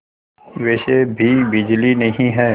वैसे भी बिजली नहीं है